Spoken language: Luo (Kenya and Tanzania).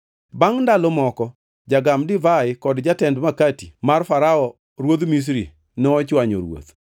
Bangʼ ndalo moko jagam divai kod jated makati mar Farao ruodh Misri nochwanyo ruoth.